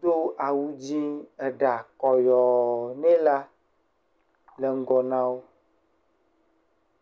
do awu dzẽ, eɖa kɔyɔɔ nɛ la le ŋgɔ na wo.